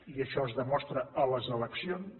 i això es demostra a les eleccions